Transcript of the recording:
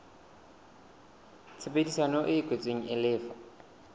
tshebedisano e kwetsweng e lefa